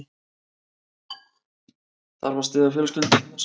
Þarf að styðja fjölskyldurnar